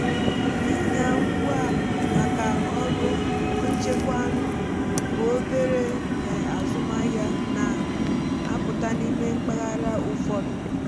ịnya ngwa maka ọrụ ichekwa áñụ́ bụ obere um azụmahịa na-apụta n’ime mpaghara ụfọdụ.